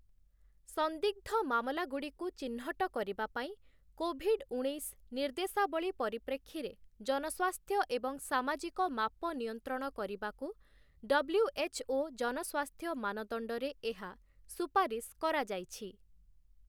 ସନ୍ଦିଗ୍ଧ ମାମଲାଗୁଡ଼ିକୁ ଚିହ୍ନଟ କରିବା ପାଇଁ କୋଭିଡ ଉଣେଇଶ ନିର୍ଦ୍ଦେଶାବଳୀ ପରିପ୍ରେକ୍ଷୀରେ ଜନସ୍ୱାସ୍ଥ୍ୟ ଏବଂ ସାମାଜିକ ମାପ ନିୟନ୍ତ୍ରଣ କରିବାକୁ ଡବ୍ଲ୍ୟୁଏଚ୍‌ଓ ଜନସ୍ୱାସ୍ଥ୍ୟ ମାନଦଣ୍ଡରେ ଏହା ସୁପାରିଶ୍ କରାଯାଇଛି ।